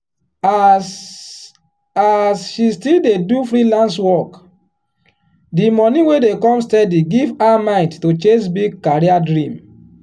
as as she still dey do freelance work the money wey dey come steady give her mind to chase big career dream.